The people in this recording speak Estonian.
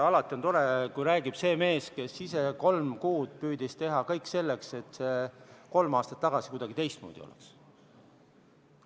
Alati on tore, kui räägib see mees, kes ise kolm kuud püüdis teha kõik selleks, et kolm aastat tagasi see kuidagi teistmoodi oleks.